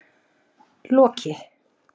Loki